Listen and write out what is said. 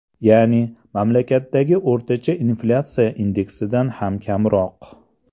Ya’ni, mamlakatdagi o‘rtacha inflyatsiya indeksidan ham kamroq.